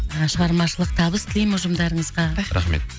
шығармашылық табыс тілеймін ұжымдарыңызға рахмет